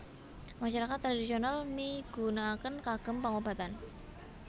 Masyarakat tradhisional migunakaken kagem pangobatan